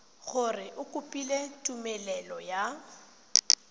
gore o kopile tumelelo ya